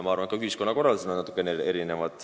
Ja ka ühiskonnakorraldus on natukene erinev.